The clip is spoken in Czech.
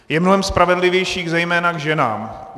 Je mnohem spravedlivější zejména k ženám.